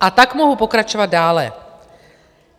A tak mohu pokračovat dále.